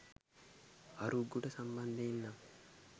අරුක්ගොඩ සම්බන්ධයෙන් නම්